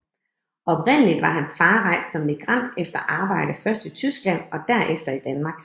Oprindeligt var hans far rejst som migrant efter arbejde først i Tyskland og derefter i Danmark